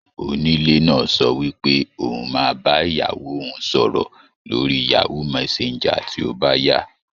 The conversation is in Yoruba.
Onílé náà sọ wípé òun máa bá ìyàwó òun sọ̀rọ̀ lórí Yahoo messenger tí ó bá yá.